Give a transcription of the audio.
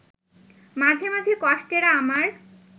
মাঝে মাঝে কষ্টেরা আমার